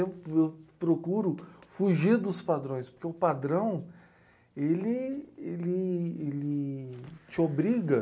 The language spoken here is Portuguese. Eu eu procuro fugir dos padrões, porque o padrão ele ele ele te obriga.